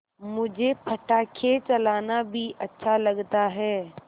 मुझे पटाखे चलाना भी अच्छा लगता है